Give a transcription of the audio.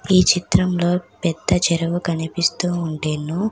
ఈ చిత్రంలో పెద్ద చెరువు కనిపిస్తూ ఉండెను.